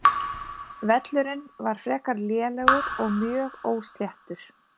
Völlurinn var frekar lélegur og mjög ósléttur.